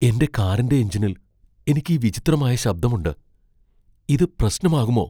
എന്റെ കാറിന്റെ എഞ്ചിനിൽ എനിക്ക് ഈ വിചിത്രമായ ശബ്ദമുണ്ട്. ഇത് പ്രശ്നമാകുമോ?